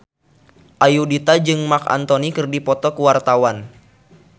Ayudhita jeung Marc Anthony keur dipoto ku wartawan